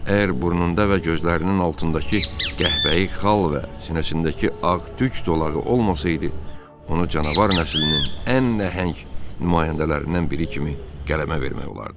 Əgər burnunda və gözlərinin altındakı qəhvəyi xal və sinəsindəki ağ tük dolağı olmasaydı, onu canavar nəslinin ən nəhəng nümayəndələrindən biri kimi qələmə vermək olardı.